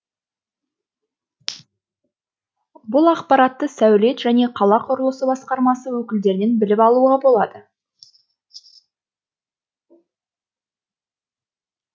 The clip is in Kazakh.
бұл ақпаратты сәулет және қала құрылысы басқармасы өкілдерінен біліп алуға болады